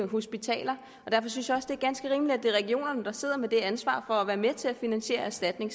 hospitaler og derfor synes jeg også det er ganske rimeligt at det er regionerne der sidder med et ansvar for at være med til at finansiere erstatninger